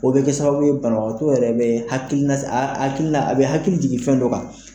O be kɛ sababu ye banabagatɔ yɛrɛ be hakili la a be hakili jigin fɛn dɔ kan.